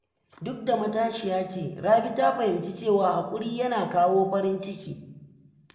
Duk da matashiya ce, Rabi ta fahimci cewa haƙuri yana kawo farin ciki.